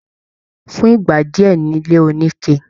Fún ìgbà díẹ ni ilé onike.